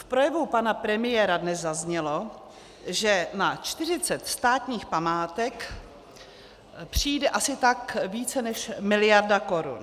V projevu pana premiéra dnes zaznělo, že na 40 státních památek přijde asi tak více než miliarda korun.